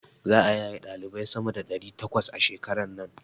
Za'a yaye ɗalibai sama da ɗari takwas a shekaran nan.